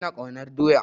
Ina ƙaunar doya